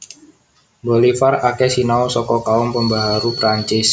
Bolivar akeh sinau saka kaum pembaharu Perancis